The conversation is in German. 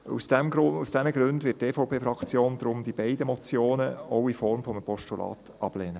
Aus diesen Gründen wird die EVP-Fraktion die beiden Motionen auch in Form eines Postulats ablehnen.